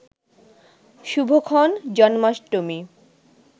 শুভক্ষণ, Janmashtami